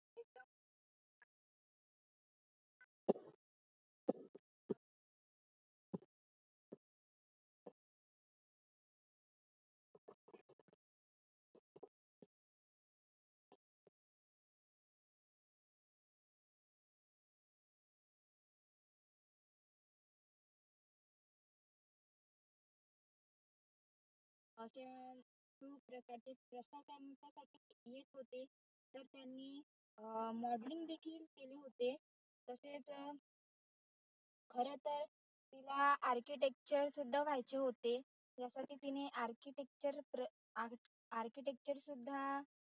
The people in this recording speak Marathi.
अं modeling देखील केले होते तरतसेच अं खर तर तिला architecture सुद्धा व्हायचे होते त्यासाठी तिने architecture acrchitecture सुद्धा